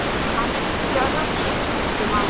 Hann reyndi því að hugsa sem minnst um hana.